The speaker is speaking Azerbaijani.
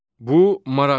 Bu maraqlıdır.